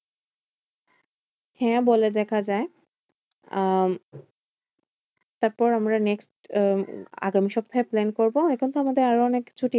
হ্যাঁ বলে দেখা যায়। আহ তারপর আমরা next আহ আগামী সপ্তাহে plan করবো। এখন তো আমাদের আরো অনেক ছুটি